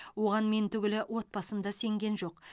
оған мен түгілі отбасым да сенген жоқ